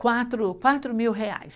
Quatro, quatro mil reais.